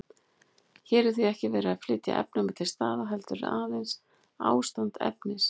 Hér er því ekki verið að flytja efni milli staða, heldur aðeins ástand efnis.